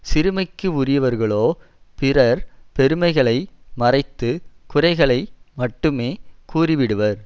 சிறுமைக்கு உரியவர்களோ பிறர் பெருமைகளை மறைத்து குறைகளை மட்டுமே கூறிவிடுவர்